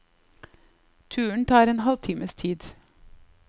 Turen tar en halv times tid.